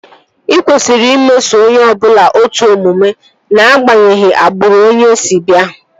E kwesịrị imeso onye ọbụla otu omume ná-agbanyeghi agbụrụ onye si bịa